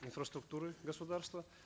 инфраструктуры государства